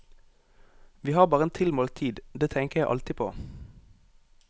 Vi har bare en tilmålt tid, det tenker jeg alltid på.